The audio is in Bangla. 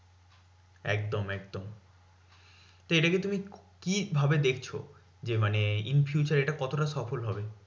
একদম একদম তো এটা কে তুমি কি ভাবে দেখছো? যে মানে in future এটা কতটা সফল হবে?